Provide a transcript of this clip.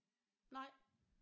Nej